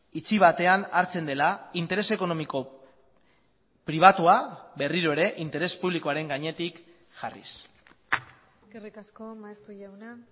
itxi batean hartzen dela interes ekonomiko pribatua berriro ere interes publikoaren gainetik jarriz eskerrik asko maeztu jauna